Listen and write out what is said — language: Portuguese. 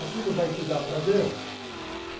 Aquilo vai te dar prazer?